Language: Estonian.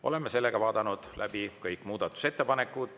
Oleme kõik muudatusettepanekud läbi vaadanud.